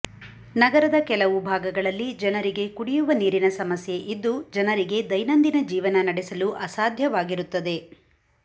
ನಗರದ ಕೆಲವು ಭಾಗಗಳಲ್ಲಿ ಜನರಿಗೆ ಕುಡಿಯುವ ನೀರಿನ ಸಮಸ್ಯೆ ಇದ್ದು ಜನರಿಗೆ ದೈನಂದಿನ ಜೀವನ ನಡೆಸಲು ಅಸಾಧ್ಯವಾಗಿರುತ್ತದೆ